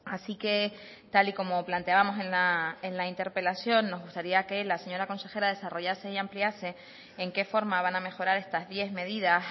así que tal y como planteábamos en la interpelación nos gustaría que la señora consejera desarrollase y ampliase en qué forma van a mejorar estas diez medidas